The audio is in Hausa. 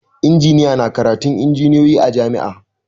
Injiniya na karatun injiniyoyi a jam'i